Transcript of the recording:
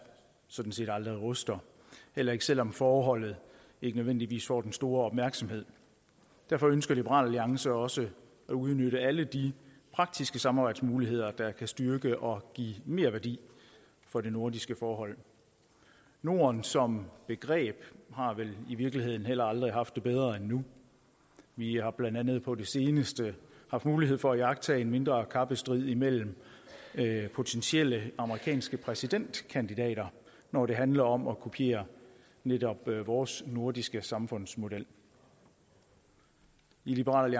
sådan set aldrig ruster heller ikke selv om forholdet ikke nødvendigvis får den store opmærksomhed derfor ønsker liberal alliance også at udnytte alle de praktiske samarbejdsmuligheder der kan styrke og give merværdi for det nordiske forhold norden som begreb har vel i virkeligheden heller aldrig haft det bedre end nu vi har blandt andet på det seneste haft mulighed for at iagttage en mindre kappestrid imellem potentielle amerikanske præsidentkandidater når det handler om at kopiere netop vores nordiske samfundsmodel i liberal